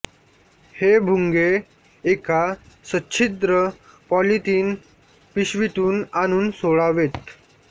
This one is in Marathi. हे भुंगे एका सच्छिद्र पॉलीथीन पिशवीतून आणून सोडावेत